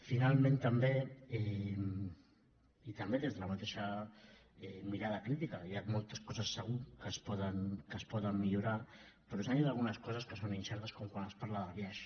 finalment també i també des de la mateixa mirada crítica hi ha moltes coses segur que se’n poden millorar però s’han dit algunes coses que són incertes com quan es parla del biaix